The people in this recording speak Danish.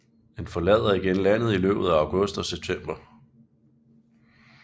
Den forlader igen landet i løbet af august og september